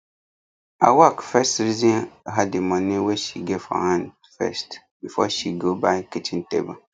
awak first reason her the money wey she get for hand first before she go buy kitchen table